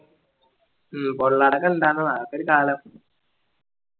പൊള്ളാർടൊക്കെ ഇണ്ടാർന്നതാ അതൊരു കാലം